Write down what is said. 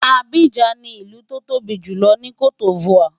Abidjan ni ìlú tó tóbi jù ní C'ote D'Ivoire.